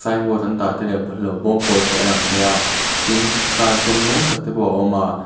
an dah tel em hrelo bawm pawl te a lang thei a tin car sen mawi tak te pawh a awm a.